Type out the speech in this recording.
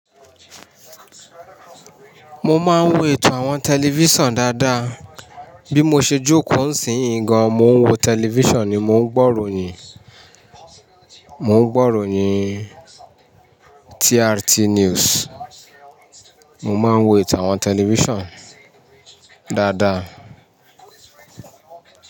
Mo máa ń wo ètò àwọn tẹlifísàn dáadáa. Bí mo ṣe jókòó ń sì yí gan, mo ń wo tẹlifísàn ni mò ń gbọ́ròyìn, mò ń gbọ́ròyìn TRT News. Mo máa ń wo ètò àwọn tẹlifísàn dáadáa.